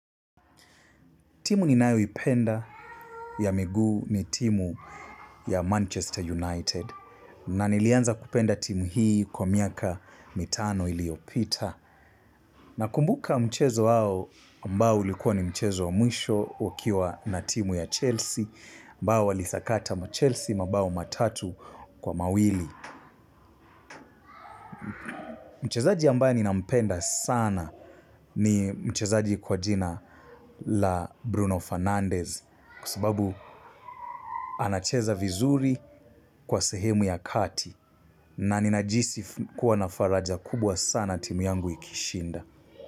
Timu ninayo ipenda ya miguu ni timu ya Manchester United na nilianza kupenda timu hii kwa miaka mitano iliyopita na kumbuka mchezo wao ambao ulikuwa ni mchezo wa mwisho ukiwa na timu ya Chelsea ambao walisakata ma Chelsea mabao matatu kwa mawili. Mchezaji ambaye ninampenda sana ni mchezaji kwa jina la Bruno Fernandez kwa sababu anacheza vizuri kwa sehemu ya kati na ninajihisi kuwa na faraja kubwa sana timu yangu ikishinda.